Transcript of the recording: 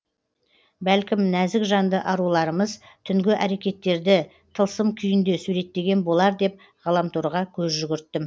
бәлкім нәзік жанды аруларымыз түнгі әрекеттерді тылсым күйінде суреттеген болар деп ғаламторға көз жүгірттім